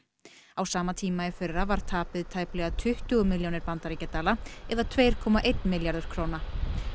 á sama tíma í fyrra var tapið tæplega tuttugu milljónir bandaríkjadala eða tveir komma einn milljarður króna